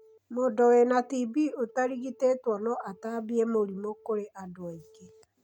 Mũndũ wĩna TB ũtarigitĩtwo no atambie mũrimũ kũrĩ andũ angĩ.